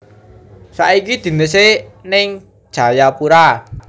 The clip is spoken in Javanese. Saiki dinese ning Jayapura